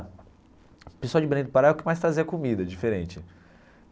O pessoal de Belém do Pará é o que mais trazia comida, diferente.